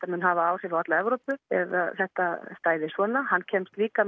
mun hafa áhrif á alla Evrópu ef að þetta stæði svona hann kemst líka